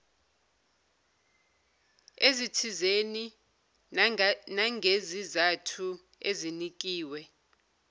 ezithizeni nangezizathu ezinikiwe